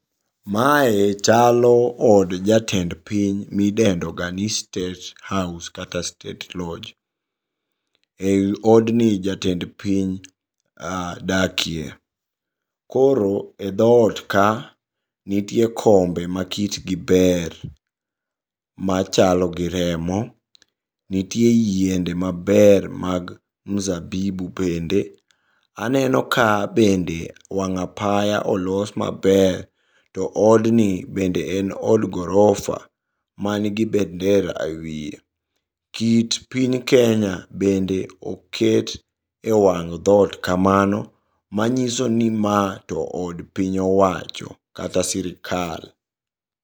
Mae chalo od jatend piny midendoga ni State House kata State Lodge. Ei odni jatend piny dakie. Koro e dhot ka nitie kombe makitgi ber, machalgi remo. Nitie yiende maber mag mzabibu bende. Aneno ka bende wang' apaya olos maber, to odni bende en od gorofa manigi bendera e wie. Kit piny Kenya bende oket e wang' dhot kamano manyisoni ma to od piny owacho kata sirikal.